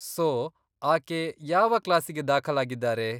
So, ಆಕೆ ಯಾವ ಕ್ಲಾಸಿಗೆ ದಾಖಲಾಗಿದ್ದಾರೆ?